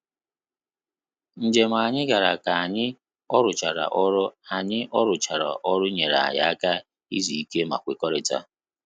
Njem anyị gara ka anyị oruchara ọrụ anyị oruchara ọrụ nyere anyị aka izu ike ma kwekọrịta